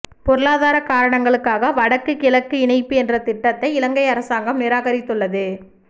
பொருளாதார காரணங்களுக்காக வடக்கு கிழக்கு இணைப்பு என்ற திட்டத்தை இலங்கை அரசாங்கம் நிராகரித்துள்ளது